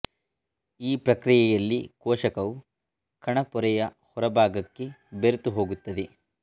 ಈ ಪ್ರಕ್ರಿಯೆಯಲ್ಲಿ ಕೋಶಕವು ಕಣ ಪೊರೆಯ ಹೊರ ಭಾಗಕ್ಕೆ ಬೆರೆತುಹೋಗುತ್ತದೆ